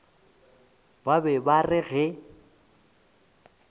ba be ba re ge